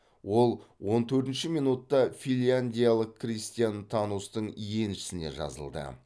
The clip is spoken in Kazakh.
ол он төртінші минутта финляндиялық кристиан танустың еншісіне жазылды